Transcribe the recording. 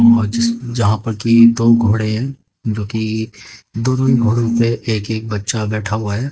और जिस यहां पर कि दो घोड़े हैं जो कि दोनों ही घोड़े पे एक एक बच्चा बैठा हुआ है।